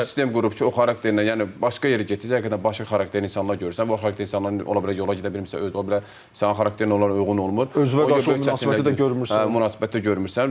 sistem qurub ki, o xarakterlə, yəni başqa yerə getsə, həqiqətən başqa xarakterli insanlar görürsən, başqa xarakterli insanlar ola bilər yola gedə bilmirsə, ola bilər sənin xarakterin onlara uyğun olmur, başqa yerlərdə münasibəti də görmürsən və bu çətinliklər olur.